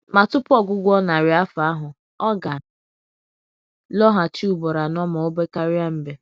Ma tupu ọgwụgwụ narị afọ ahụ, ọ ga lọghachi ụgboro anọ ma obekaria mbe